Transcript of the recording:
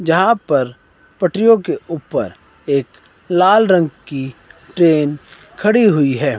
जहां पर पटरियों के ऊपर एक लाल रंग की ट्रेन खड़ी हुई है।